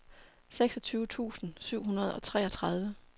seksogtyve tusind syv hundrede og treogtredive